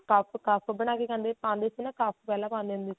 ਕਫ਼ cuff ਬਣਾ ਕੇ ਪਾਉਂਦੇ ਸੀ ਨਾ ਕਫ਼ ਪਹਿਲਾਂ ਪਾਉਂਦੇ ਹੁੰਦੇ ਸੀਗੇ